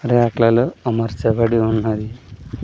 Rack లలో అమర్చబడి ఉన్నారు.